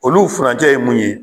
Olu furancɛ ye mun ye